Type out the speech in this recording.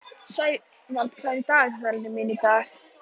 Sævald, hvað er í dagatalinu mínu í dag?